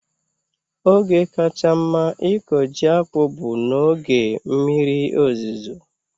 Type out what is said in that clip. Oge kacha mma ịkọ ji akpu bụ n'oge mmiri ozuzo